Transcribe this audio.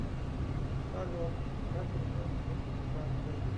салют как узнать пин к карте